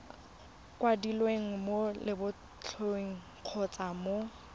kwadilweng mo lebotlolong kgotsa mo